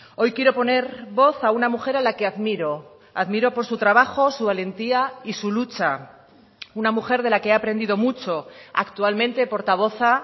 hoy quiero poner voz a una mujer a la que admiro admiro por su trabajo su valentía y su lucha una mujer de la que he aprendido mucho actualmente portavoza